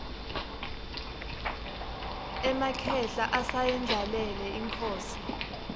emakhehla asayendlalele inkhosi